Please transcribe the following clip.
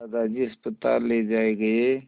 दादाजी अस्पताल ले जाए गए